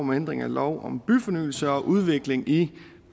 om ændring af lov om byfornyelse og udvikling i